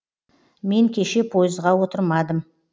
мен кеше пойызға отырамадым